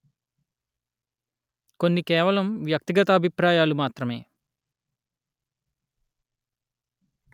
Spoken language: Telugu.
కొన్ని కేవలం వ్యక్తిగత అభిప్రాయాలు మాత్రమే